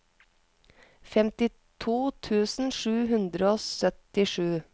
femtito tusen sju hundre og syttisju